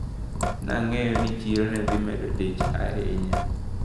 Nang`eyo ni chiro nedhimedo dich ahinya.